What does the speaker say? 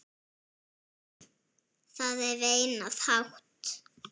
Það er veinað hátt.